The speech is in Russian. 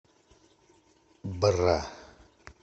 бра